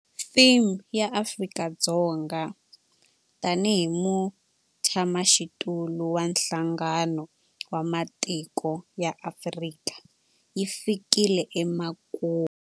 Theme ya Afrika-Dzonga tanihi mutshamaxitulu wa Nhlangano wa Matiko ya Afrika yi fikile emakumu.